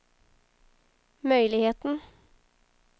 möjligheten